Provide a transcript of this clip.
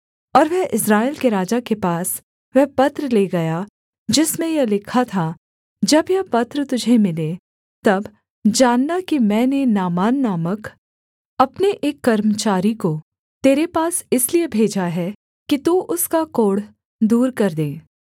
और वह इस्राएल के राजा के पास वह पत्र ले गया जिसमें यह लिखा था जब यह पत्र तुझे मिले तब जानना कि मैंने नामान नामक अपने एक कर्मचारी को तेरे पास इसलिए भेजा है कि तू उसका कोढ़ दूर कर दे